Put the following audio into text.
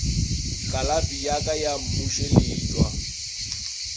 kalafi ya ka ya mmušeletšwa